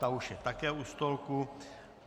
Ta už je také u stolku.